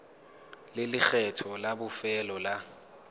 le lekgetho la bofelo la